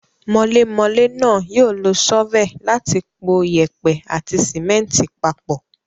Mọlémọlé náà yóò lo ṣọ́fẹ̀ láti po yèèpẹ̀ àti símẹ́ńtì papọ̀.